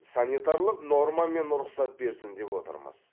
санитарлық нормамен рұқсат берсін деп отырмыз